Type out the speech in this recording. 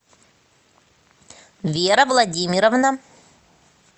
вера владимировна